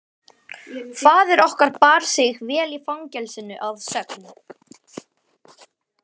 Faðir okkar bar sig vel í fangelsinu að sögn.